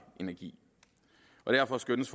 energi derfor skønnes